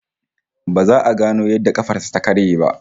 Ba za a gano yadda kafar sa ta karye ba